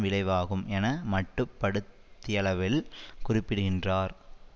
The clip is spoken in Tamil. விளைவாகும் என மட்டுப்படுத்தியளவில் குறிப்பிடுகின்றார்